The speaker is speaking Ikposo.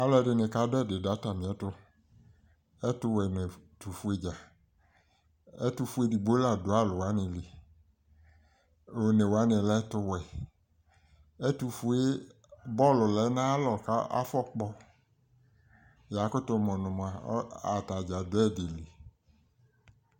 alo ɛdini ka do ɛdi do atamiɛto ɛto wɛ no ɛto fue dza ɛto fue edigbo la do alowani li one wane lɛ ɛto wɛ ɛto fue bɔlu lɛ no ayi alɔ ko afɔ kpɔ yakoto mo no moa atadza do ɛdi li